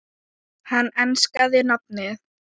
Hann enskaði nafnið